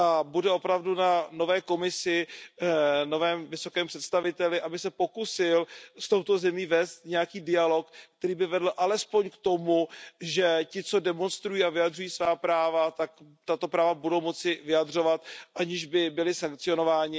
Bude na nové Komisi, novém vysokém představiteli, aby se pokusil s touto zemí vést nějaký dialog, který by vedl alespoň k tomu, že ti, co demonstrují a vyjadřují svá práva, tato práva budou moci vyjadřovat, aniž by byli sankcionováni.